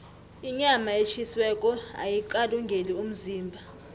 inyama etjhisiweko ayikalungeli umzimba